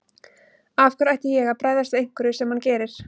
Af hverju ætti ég að bregðast við einhverju sem hann gerir.